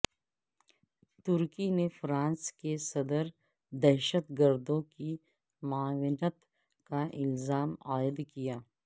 ترکی نےفرانس کے صدر پر دہشت گردوں کی معاونت کا الزام عائدکیا